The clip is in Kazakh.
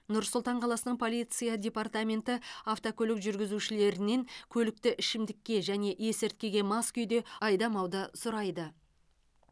нұр сұлтан қаласының полиция департаменті автокөлік жүргізушілерінен көлікті ішімдікке және есірткіге мас күйде айдамауды сұрайды